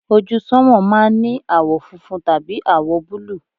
ojú sánmà máà ń ní àwọ̀ funfun tàbí àwọ̀ búlù